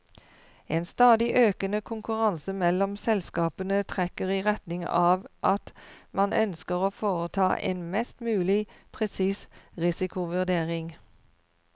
En stadig økende konkurranse mellom selskapene trekker i retning av at man ønsker å foreta en mest mulig presis risikovurdering.